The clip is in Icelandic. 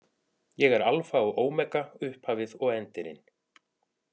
Ég er Alfa og Ómega, upphafið og endirinn.